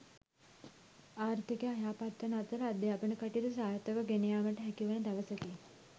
ආර්ථිකය යහපත් වන අතර අධ්‍යාපන කටයුතු සාර්ථකව ගෙනයාමට හැකිවන දවසකි.